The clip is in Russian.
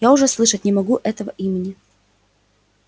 я уже слышать не могу этого имени